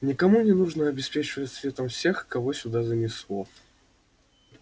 никому не нужно обеспечивать светом всех кого сюда занесло